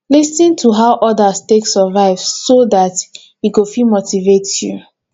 lis ten to how others take survive so that e go fit motivate you